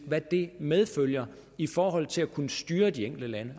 hvad det medfører i forhold til at kunne styre de enkelte lande